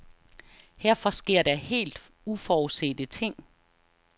Herfra sker der helt uforudsete ting.